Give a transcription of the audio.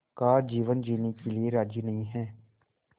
का जीवन जीने के लिए राज़ी नहीं हैं